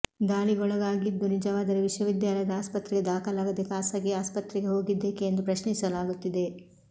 ದಾಳಿಗೊಳಗಾಗಿದ್ದು ನಿಜವಾದರೆ ವಿಶ್ವವಿದ್ಯಾಲಯದ ಆಸ್ಪತ್ರೆಗೆ ದಾಖಲಾಗದೇ ಖಾಸಗಿ ಆಸ್ಪತ್ರೆಗೆ ಹೋಗಿದ್ದೇಕೆ ಎಂದು ಪ್ರಶ್ನಿಸಲಾಗುತ್ತಿದೆ